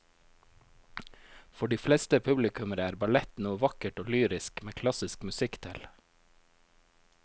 For de fleste publikummere er ballett noe vakkert og lyrisk med klassisk musikk til.